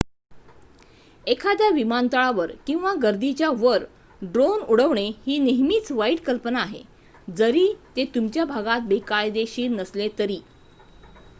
एखाद्या विमानतळावर किंवा गर्दीच्या वर ड्रोन उडवणे ही नेहमीच वाईट कल्पना आहे जरी ते तुमच्या भागात बेकायदेशीर नसले तरी